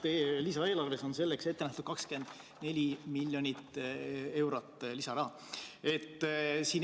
Lisaeelarves on selleks ette nähtud 24 miljonit eurot lisaraha.